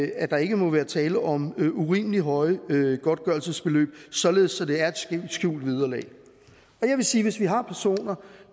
at der ikke må være tale om urimelig høje godtgørelsesbeløb således at det er et skjult vederlag jeg vil sige hvis vi har personer